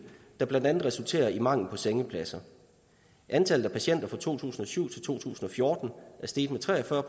der blandt andet resulterer i mangel på sengepladser antallet af patienter er fra to tusind og syv til fjorten steget med tre og fyrre